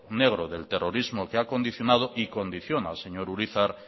negro del terrorismos que ha condicionado y condiciona señor urizar